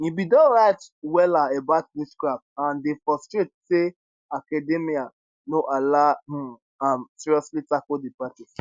e bin don write wella about witchcraft and dey frustrate say academia no allow um am seriously tackle di practice